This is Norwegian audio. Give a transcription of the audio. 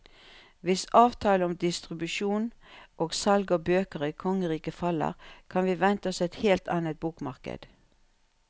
Hvis avtalen om distribusjon og salg av bøker i kongeriket faller, kan vi vente oss et helt annet bokmarked.